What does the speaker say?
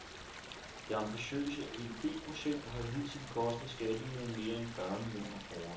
Det ambitiøse edb-projekt har hidtil kostet skatteyderne mere end fyrre millioner kroner.